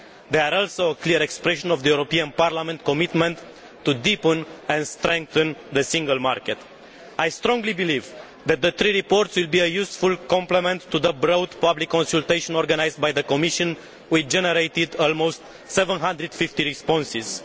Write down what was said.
They are also a clear expression of the European Parliament's commitment to deepen and strengthen the Single Market. I strongly believe that the three reports will be a useful complement to the broad public consultation organised by the Commission, which generated almost 750 responses.